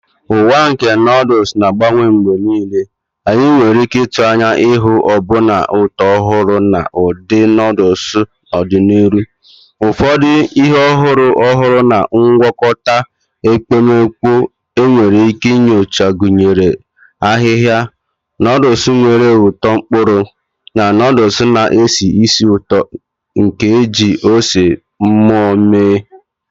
Ụwa nke noodles na-agbanwe mgbe niile, anyị nwere ike ịtụ anya ịhụ ọbụna ụtọ ọhụrụ na ụdị noodles n'ọdịnihu. Ụfọdụ ihe ọhụrụ ọhụrụ na ngwakọta ekpomeekpo enwere ike inyocha gụnyere ahịhịa, noodles nwere ụtọ mkpụrụ, na noodles na-esi ísì ụtọ nke e ji ose mmụọ mee..